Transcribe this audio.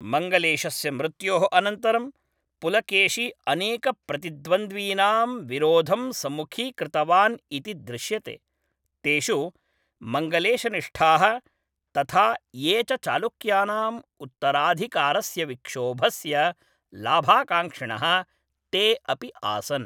मङ्गलेशस्य मृत्योः अनन्तरं, पुलकेशी अनेकप्रतिद्वन्द्वीनां विरोधं सम्मुखीकृतवान् इति दृश्यते, तेषु मङ्गलेशनिष्ठाः, तथा ये च चालुक्यानाम् उत्तराधिकारस्य विक्षोभस्य लाभाकाङ्क्षिणः ते अपि आसन्।